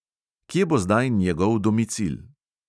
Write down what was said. Kje bo zdaj njegov domicil?